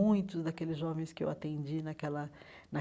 Muitos daqueles jovens que eu atendi naquela